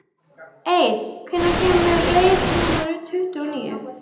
Eir, hvenær kemur leið númer tuttugu og níu?